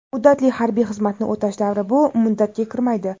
Muddatli harbiy xizmatni o‘tash davri bu muddatga kirmaydi.